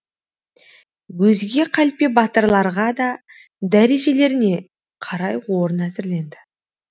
өзге қалпе батырларға да дәрежелеріне қарай орын әзірленді